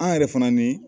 An yɛrɛ fana ni